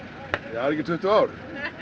ekki tuttugu ár